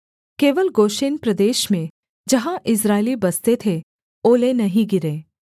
केवल गोशेन प्रदेश में जहाँ इस्राएली बसते थे ओले नहीं गिरे